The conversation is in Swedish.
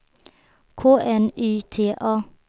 K N Y T A